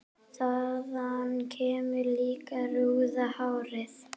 Þaðan kemur líklega rauða hárið.